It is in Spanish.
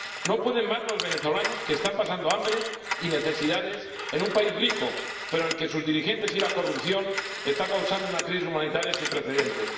No pueden más los venezolanos que están pasando hambre y necesidades en un país rico, pero al que sus dirigentes y la corrupción están causando una crisis humanitaria sin precedentes.